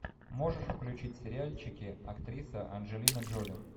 можешь включить сериальчики актриса анджелина джоли